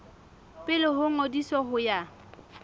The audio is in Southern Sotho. pele ho ngodiso ho ya